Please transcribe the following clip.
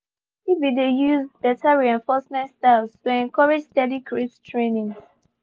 he been de use better reinforcement styles to encourage steady crate trainings